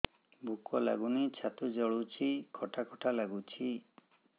ଭୁକ ଲାଗୁନି ଛାତି ଜଳୁଛି ଖଟା ଖଟା ଲାଗୁଛି